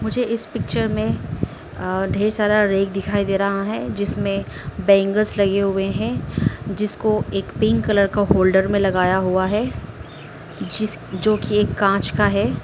मुझे इस पिक्चर में ढेर सारा रैक दिखाई दे रहा है। जिसमें बैंगल्स लगे हुए है। जिसको एक पिंक कलर का होल्डर में लगाया हुआ है। जिस जोकि एक कांच का है।